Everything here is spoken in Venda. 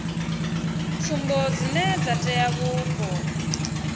tsumbo dzine dza tea vhupo